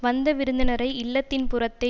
வந்த விருந்தினரை இல்லத்தின் புறத்தே